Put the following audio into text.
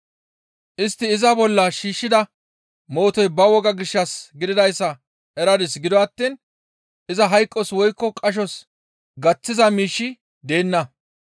Istti iza bolla shiishshida mootoy ba wogaa gishshas gididayssa eradis; gido attiin iza hayqos woykko qashos gaththiza miishshi deenna.